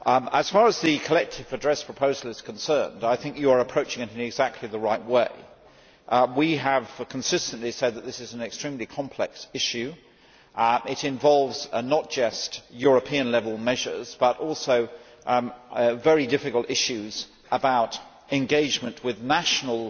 As far as the collective redress proposal is concerned, I think you are approaching it in exactly the right way. We have consistently said that this is an extremely complex issue. It involves not just European level measures but also very difficult issues about engagement with national